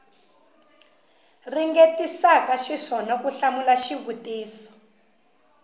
ringetisaka xiswona ku hlamula xivutiso